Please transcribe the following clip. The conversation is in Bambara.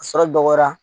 A sɔrɔ dɔgɔya